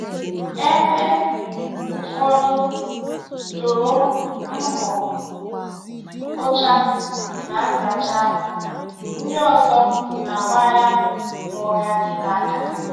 Ebe ụfọdụ toro mbọ mkpocha na nzacha ahụ, ndị ọzọ Na-agbagha ma ọ ga-adịte aka.